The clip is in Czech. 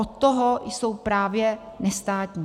Od toho jsou právě nestátní.